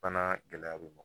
Fana gɛlɛya be ye nɔ